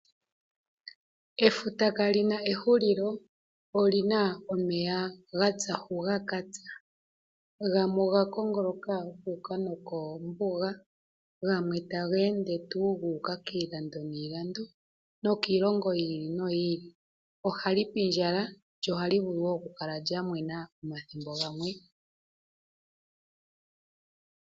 Efuta kali na ehulilo olina omeya ga tsa hu ga ka tsa, gamwe oga kongoloka gu uka nokombuga gamwe tage ende tuu gu uka kiilando niilando nokiilongo yi ili noyi ili. Ohali pindjala lyo ohali vulu wo okukala lya mwena omathimbo gamwe.